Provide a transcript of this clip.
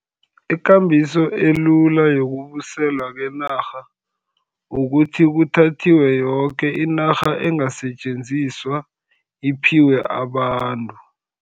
Ikambiso elula yokubuyiselwa kwenarha, kukuthi kuthathwe yoke inarha engasetjenziswa, iphiwe abantu.